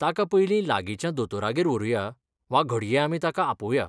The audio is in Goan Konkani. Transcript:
ताका पयलीं लागींच्या दोतोरागेर व्हरूया, वा घडये आमी ताका आपोवया.